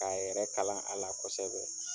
K'a yɛrɛ kalan a la kosɛbɛ.